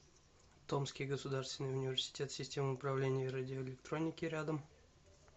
томский государственный университет систем управления и радиоэлектроники рядом